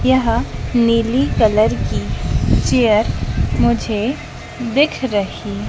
यह नीली कलर की चेयर मुझे दिख रही--